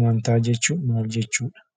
Amantaa jechuun maal jechuudha?